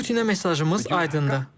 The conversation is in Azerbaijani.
Putinə mesajımız aydındır.